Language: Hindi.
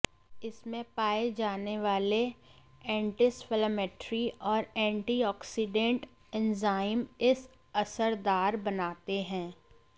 इसमें पाए जाने वाले एंटीइंफ्लेमेटरी और एंटीऑक्सिडेंट एंजाइम इस असरदार बनाते हैं